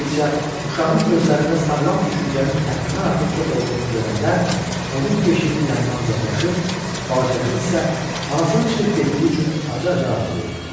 Kraliça uşağın gözlərində sağlam düşüncənin həddindən artıq çox olduğunu görəndə onun beşiyinin yanından uzaqlaşır, balaca qız isə anasının çıxıb getdiyi üçün acı-acı ağlayırdı.